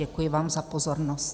Děkuji vám za pozornost.